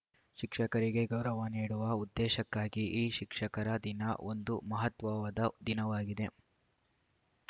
ಶಿಕ್ಷಕರಿಗೆ ಗೌರವ ನೀಡುವ ಉದ್ದೇಶಕ್ಕಾಗಿ ಈ ಶಿಕ್ಷಕರ ದಿನ ಒಂದು ಮಹತ್ವವಾದ ದಿನವಾಗಿದೆ